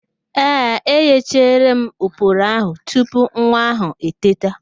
Ee, eghechara m oporo ahụ tupu nwa ahụ eteta